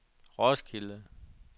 Roskilde